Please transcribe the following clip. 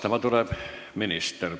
Minister tuleb vastama.